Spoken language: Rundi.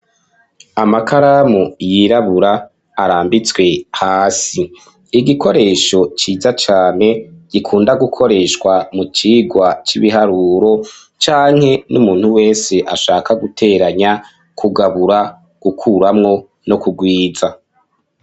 Amakaramu yirabura arambitswe hasi. Igikoresho ciza cane gikunda gukoreshwa mu cigwa c'ibiharuro canke n'umuntu wese ashaka guteranya, kugabura, gukuramwo no kugwiza.